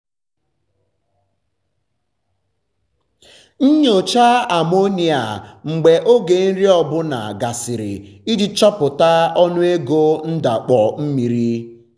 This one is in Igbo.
nyochaa amonia mgbe oge nri ọ bụla gasịrị iji chọpụta ọnụego ndakpọ mmiri.